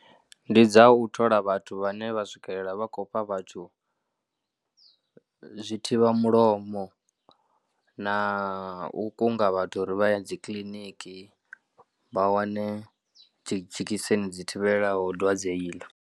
Ndi dza u thola vhathu vhane vha swikelela vha khou fha vhathu zwi thivhamulomo na u kunga vhathu uri vha ya dzi kiliniki vha wane dzhekiseni dzi tevhelaho dwadze iḽo.